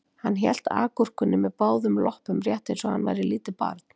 Hann hélt agúrkunni með báðum loppum rétt eins og hann væri lítið barn